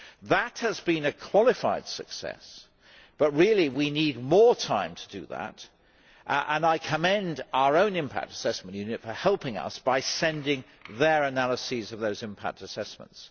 That has been a qualified success, but really we need more time to do that and I commend our own Impact Assessment Unit for helping us by sending their analyses of those impact assessments.